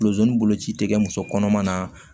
boloci tɛ kɛ muso kɔnɔma na